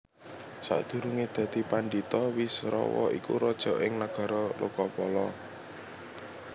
Sakdurungé dadi pandhita Wisrawa iku raja ing Nagara Lokapala